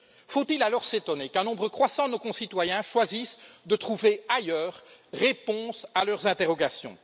Faut il alors s'étonner qu'un nombre croissant de nos concitoyens choisissent de trouver ailleurs réponse à leurs interrogations?